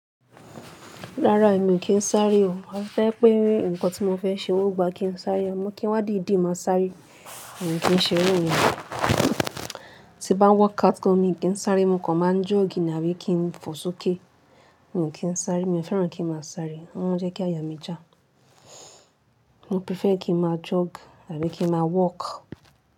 Rárá èmi ò kì n sáré o. Àfi tó bá jẹ́ pé ǹkan tí mo fẹ́ ṣe ọgbà kin sáré àmọ́ kí n wá dìdí máa sáré, èmi kìn ṣe irú ìyẹn. Ti bá ń workout gan, èmi kì í sáré, mo kàn máa ń jog ní àbí kí n fò sókè, mi kìn sáré. Mi ò fẹ́ràn kin máa sáré, ó máa ń jẹ́ kí àyà mi jà mo prefer kin má jog àbí kin má walk.